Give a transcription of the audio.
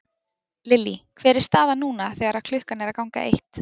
Lillý hver er staðan núna þegar að klukkan er að ganga eitt?